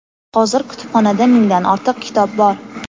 Hozir kutubxonada mingdan ortiq kitob bor.